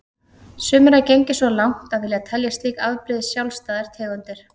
Sumir hafa gengið svo langt að vilja telja slík afbrigði sjálfstæðar tegundir.